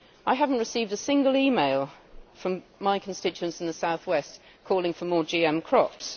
I have not received a single e mail from my constituents in the south west calling for more GM crops.